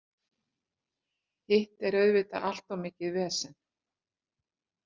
Hitt er auðvitað allt of mikið vesen.